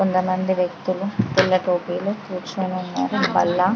కొంత మంది వ్యక్తులు పిల్లలు కుర్చోని ఉన్నారు బల్ల --